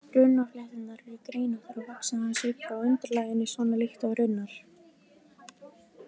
Runnaflétturnar eru greinóttar og vaxa aðeins upp frá undirlaginu, svona líkt og runnar.